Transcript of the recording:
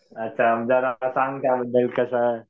आता जरा सांग त्या बद्दल कसं.